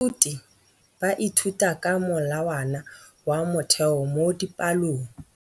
Baithuti ba ithuta ka molawana wa motheo mo dipalong.